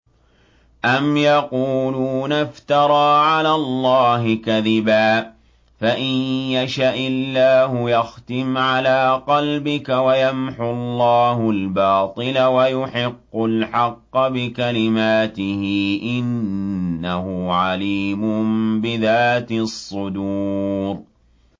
أَمْ يَقُولُونَ افْتَرَىٰ عَلَى اللَّهِ كَذِبًا ۖ فَإِن يَشَإِ اللَّهُ يَخْتِمْ عَلَىٰ قَلْبِكَ ۗ وَيَمْحُ اللَّهُ الْبَاطِلَ وَيُحِقُّ الْحَقَّ بِكَلِمَاتِهِ ۚ إِنَّهُ عَلِيمٌ بِذَاتِ الصُّدُورِ